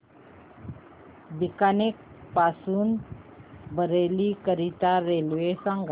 बीकानेर पासून बरेली करीता रेल्वे सांगा